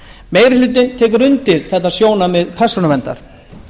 meiri hlutinn tekur undir þetta sjónarmið persónuverndar